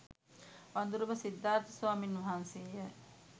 වඳුරඹ සිද්ධාර්ථ ස්වාමීන් වහන්සේ ය.